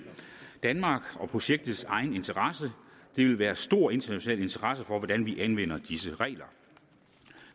danmarks og projektets egen interesse der vil være stor international interesse for hvordan vi anvender disse regler